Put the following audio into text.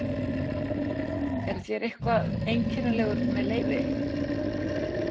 Eruð þér eitthvað einkennilegur með leyfi?